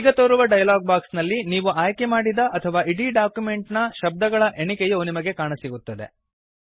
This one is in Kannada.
ಈಗ ತೋರುವ ಡಯಲಾಗ್ ಬಾಕ್ಸ್ ನಲ್ಲಿ ನೀವು ಆಯ್ಕೆ ಮಾಡಿದ ಅಥವಾ ಇಡೀ ಡಾಕ್ಯುಮೆಂಟ್ ನ ಶಬ್ದಗಳ ಎಣಿಕೆಯು ನಿಮಗೆ ಕಾಣಸಿಗುತ್ತದೆ